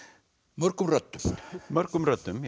mörgum röddum mörgum röddum